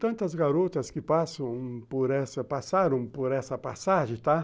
Tantas garotas que passam por essa, passaram por essa passagem, tá?